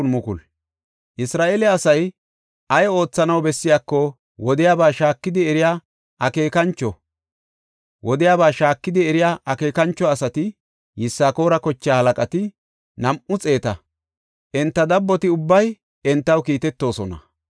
Isra7eele asay ay oothanaw bessiyako wodiyaba shaakidi eriya akeekancho asati, Yisakoora kochaa halaqati, nam7u xeeta; enta dabboti ubbay entaw kiitetoosona.